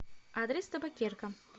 адрес табакерка